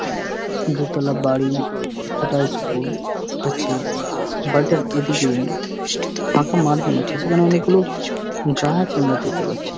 দুতলা বাড়ি যেটা স্কুল আছে বাড়িটার এইদিকে ফাঁকা মাঠ মনে হচ্ছে সেখানে অনকে গুলো গাছ আমরা দেখতে পাচ্ছি।